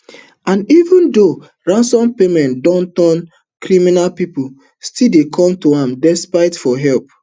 and even though ransom payments don turn crime pipo still dey come to am desperate for help